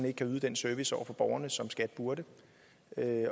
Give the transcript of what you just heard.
ikke kan yde den service over for borgerne som skat burde